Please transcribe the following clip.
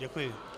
Děkuji.